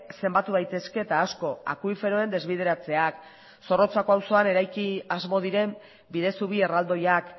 zenbatu daitezke eta asko akuiferoen desbideratzeak zorrotzako auzoan eraiki asmo diren bidezubi erraldoiak